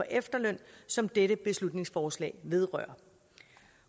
efterløn som dette beslutningsforslag vedrører